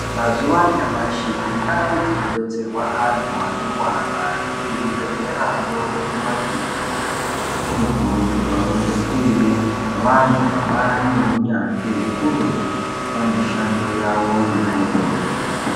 Mazuwa anyamashi kundau dzinobetserwa antu anorwara kuzvibhedhlerayo nekumakirinika kunokurudzirwa kunge kuine vantu vabaari neunyanzvi ukurutu pamishando yawo yona iyoyo.